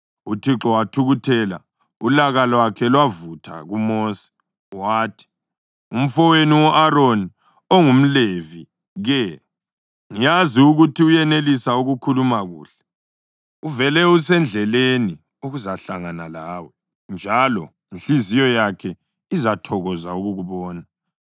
UThixo wathukuthela, ulaka lwakhe lwavutha kuMosi, wathi, “Umfowenu u-Aroni, ongumLevi ke? Ngiyazi ukuthi uyenelisa ukukhuluma kuhle. Uvele usendleleni ukuzahlangana lawe, njalo inhliziyo yakhe izathokoza ukukubona.